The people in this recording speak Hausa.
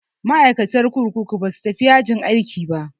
Ma'aikatan kurkuku ba za su tafi yajin aiki ba.